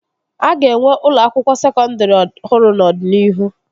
A ga-enwe ụlọ akwụkwọ sekọndri ọhụrụ n'ọdịnihu